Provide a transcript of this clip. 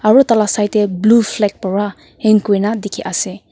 aro tala side tae blue flag para hang kurina dikhiase.